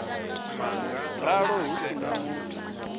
ralo hu si na muthu